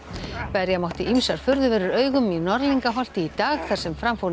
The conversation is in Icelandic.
berja mátti ýmsar furðuverur augum í Norðlingaholti í dag þar sem fram fór